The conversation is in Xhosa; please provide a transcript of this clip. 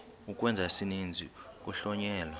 ukwenza isininzi kuhlonyelwa